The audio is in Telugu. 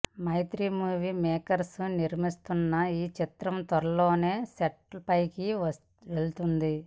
మైత్రీ మూవీ మేకర్స్ నిర్మిస్తోన్న ఈ చిత్రం త్వరలోనే సెట్స్పైకి వెళ్తుంది